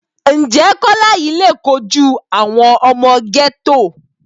Ǹjẹ́ Kọ́lá yìí le kojú àwọn ọmọ gẹ́tò?